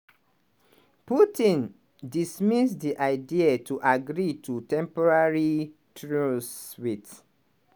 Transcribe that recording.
putin dismiss di idea to agree to a temporary truce wit